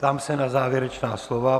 Ptám se na závěrečná slova.